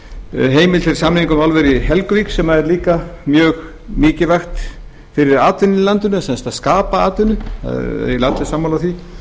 samþykkt heimild til samninga um álverið í helguvík sem er líka mjög mikilvægt fyrir atvinnuna í landinu sem sagt að skapa atvinnu það eru eiginlega allir sammála því